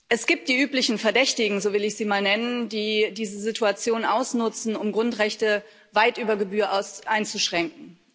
Es gibt die üblichen Verdächtigen so will ich sie mal nennen die die Situation ausnutzen, um Grundrechte weit über Gebühr einzuschränken.